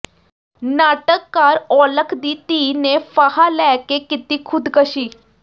ਨਾਟਕਕਾਰ ਔਲਖ ਦੀ ਧੀ ਨੇ ਫਾਹਾ ਲੈ ਕੇ ਕੀਤੀ ਖੁਦਕਸ਼ੀ